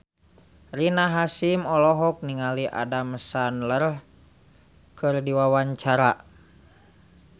Rina Hasyim olohok ningali Adam Sandler keur diwawancara